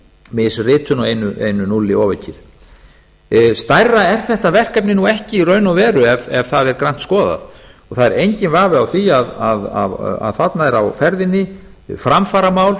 misritun og einu núlli ofaukið stærra er þetta verkefni nú ekki í raun og veru ekki ef það er grannt skoðað það er enginn vafi á því að þarna er á ferðinni framfaramál